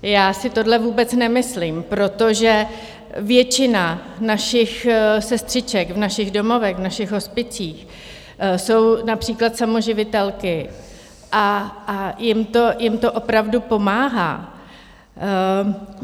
Já si to vůbec nemyslím, protože většina našich sestřiček v našich domovech, v našich hospicích, jsou například samoživitelky a jim to opravdu pomáhá.